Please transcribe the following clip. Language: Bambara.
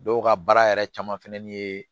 Dɔw ka baara yɛrɛ caman fɛnɛni ye